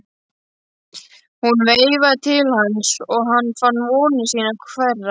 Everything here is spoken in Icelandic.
Hún veifaði til hans og hann fann vonir sínar þverra.